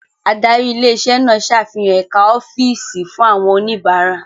Adarí ilé iṣẹ́ náà ṣàfihàn ẹ̀ka ọ́fíìsì fún àwọn oníbàárà.